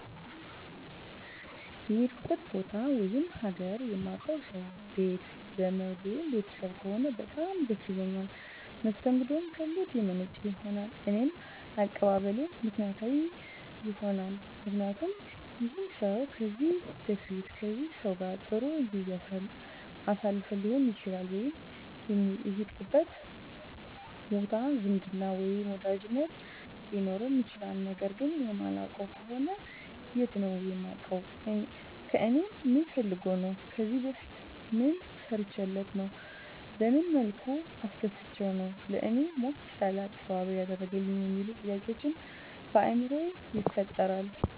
የሄድኩበት ቦታ ወይም ሀገር የማውቀው ሰው ቤት ዘመድ ወይም ቤተሰብ ከሆነ በጣም ደስ ይለኛል መስተንግደውም ከልብ የመነጨ ይሆናል እኔም አቀባበሌ ምክንያታዊ ይሆናልምክንያቱም ይህን ሰው ከዚህ በፊት ከዚህ ሰው ጋር ጥሩ ጊዜ አሳልፈን ሊሆን ይችላል ወይም የሄድንበት ቦታ ዝምድና ወይም ወዳጅነት ሊኖረን ይችላል ነገር ግን የማላውቀው ከሆነ የት ነው የማውቀው ከእኔ ምን ፈልጎ ነው ከዚህ በፊት ምን ሰርቸለት ነው በመን መልኩ አስደስቸው ነው ለእኔ ሞቅ ያለ አቀባበል ያደረገልኝ የሚሉ ጥያቄዎች በአይምሮየ ይፈጠራል